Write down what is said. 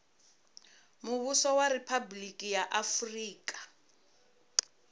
muvhuso wa riphabuliki ya afurika